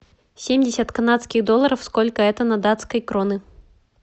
семьдесят канадских долларов сколько это на датской кроны